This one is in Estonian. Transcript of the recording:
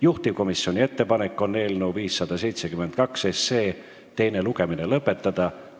Juhtivkomisjoni ettepanek on eelnõu 572 teine lugemine lõpetada.